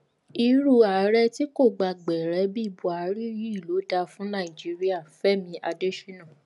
irú ààrẹ tí kò gba gbẹrẹ bíi buhari yìí ló dáa fún nàìjíríà fẹmi adésínà